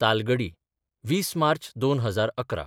Talgadi 20 March 2011